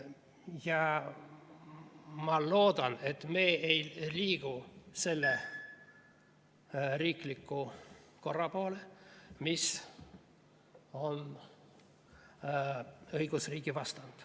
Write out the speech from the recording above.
Ja ma loodan, et me ei liigu selle riikliku korra poole, mis on õigusriigi vastand.